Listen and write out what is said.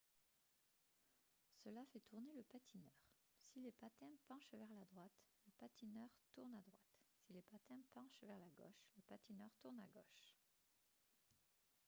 cela fait tourner le patineur si les patins penchent vers la droite le patineur tourne à droite si les patins penchent vers la gauche le patineur tourne à gauche